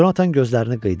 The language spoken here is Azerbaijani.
Conatan gözlərini qıydı.